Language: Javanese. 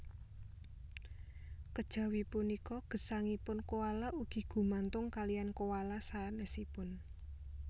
Kejawi punika gesangipun koala ugi gumantung kaliyan koala sanésipun